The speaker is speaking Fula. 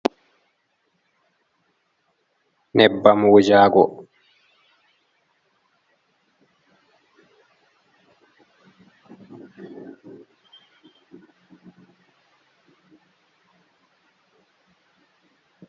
Nyebbam wujagoo.